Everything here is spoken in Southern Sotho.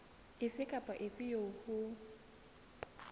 efe kapa efe eo ho